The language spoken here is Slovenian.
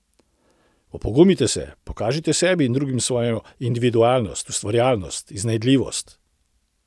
Opogumite se, pokažite sebi in drugim svojo individualnost, ustvarjalnost in iznajdljivost.